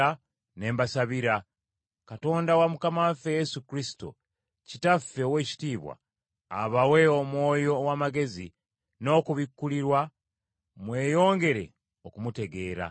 ne mbasabira, Katonda wa Mukama waffe Yesu Kristo, Kitaffe ow’ekitiibwa, abawe Omwoyo ow’amagezi n’okubikkulirwa mweyongere okumutegeera.